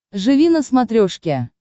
живи на смотрешке